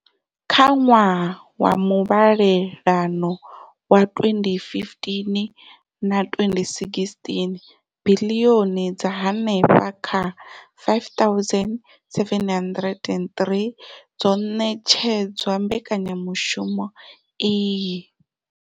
Kha ṅwaha wa muvhalelano wa 2015 na 2016, biḽioni dza henefha kha R5 703 dzo ṋetshedzwa mbekanyamushumo iyi.